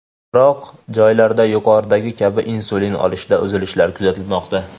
Biroq joylarda, yuqoridagi kabi, insulin olishda uzilishlar kuzatilmoqda.